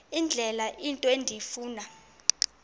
indlela into endifuna